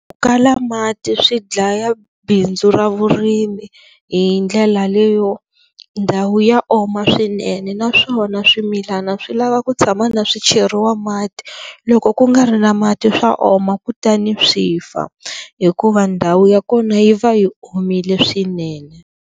Ku kala mati swi dlaya bindzu ra vurimi hi ndlela leyo ndhawu ya oma swinene naswona swimilana swi lava ku tshama na swicheriwa mati loko ku nga ri na mati swa oma kutani swi fa hikuva ndhawu ya kona yi va yi omile swinene.